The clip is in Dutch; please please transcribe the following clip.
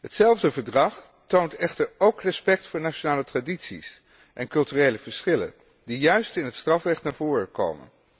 Hetzelfde Verdrag toont echter ook respect voor nationale tradities en culturele verschillen, die juist in het strafrecht naar voren komen.